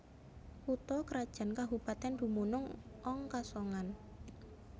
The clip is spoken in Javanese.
Kutha krajan kabupatèn dumunung ong Kasongan